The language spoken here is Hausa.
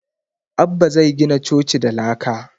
Abbah zai gina coci da laka